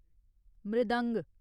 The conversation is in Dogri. मृदंग